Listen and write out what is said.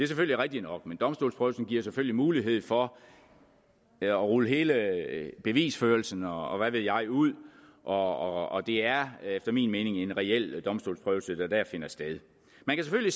selvfølgelig rigtigt nok men domstolsprøvelsen giver selvfølgelig mulighed for at rulle hele bevisførelsen og og hvad ved jeg ud og det er efter min mening en reel domstolsprøvelse der dér finder sted man kan